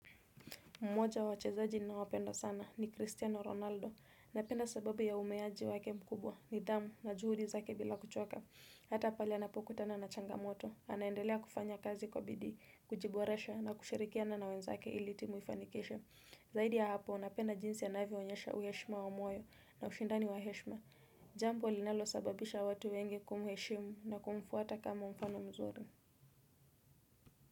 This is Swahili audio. Mmoja wa wachezaji ninaowapenda sana ni Cristiano Ronaldo. Napenda sababu ya umeaji wake mkubwa nidhamu na juhudi zake bila kuchoka. Hata pale anapokutana na changamoto. Anaendelea kufanya kazi kwa bidii, kujiboresha na kushirikiana na wenzake ili timu ifanikishe. Zaidi ya hapo, napenda jinsi anavyo onyesha uheshima wa moyo na ushindani wa heshima. Jambo linalosababisha watu wengi kumheshimu na kumfuata kama mfano mzuri.